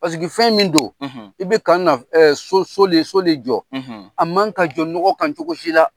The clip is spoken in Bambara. fɛn min don, i bɛ ka na so so le so de jɔ , a man ka jɔ nɔgɔ kan cogo si la.